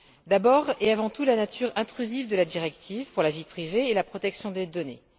D'abord et avant tout la nature intrusive de la directive pour la vie privée et la protection des données.